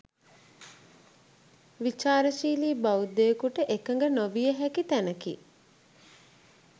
විචාරශීලි බෞද්ධයෙකුට එකඟ නොවිය හැකි තැනකි.